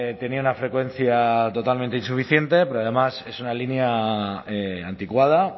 tenía una frecuencia totalmente insuficiente pero además es una línea anticuada